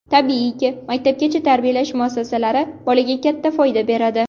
Tabiiyki, maktabgacha tarbiyalash muassasalari bolaga katta foyda beradi.